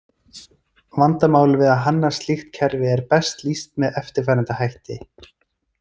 Vandamál við að hanna slíkt kerfi er best lýst með eftirfarandi hætti.